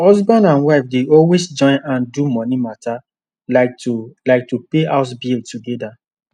husband and wife dey always join hand do money mata like to like to pay house bill together